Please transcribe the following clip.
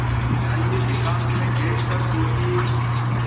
जाइए एकांत में बैठ कर सोचिए